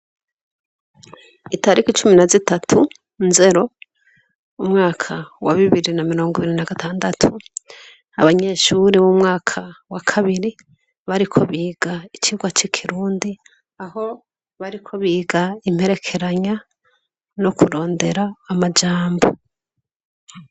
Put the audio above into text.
Itariko icumi na zitatu nzero umwaka wa bibiri na mirongo ibiri na gatandatu abanyeshuri b'umwaka wa kabiri bariko biga icirwa c'ikirundi aho bariko biga imperekeranya no kurondera amajambo.